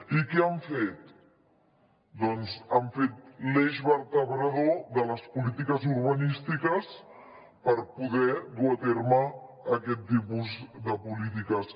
i què han fet doncs l’han fet l’eix vertebrador de les polítiques urbanístiques per poder dur a terme aquest tipus de polítiques